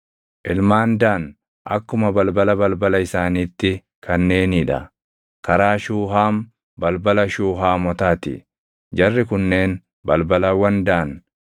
Ilmaan Daan akkuma balbala balbala isaaniitti kanneenii dha: karaa Shuuhaam, balbala Shuuhaamotaa ti. Jarri kunneen balbalawwan Daan: